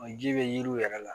O ji bɛ yiriw yɛrɛ la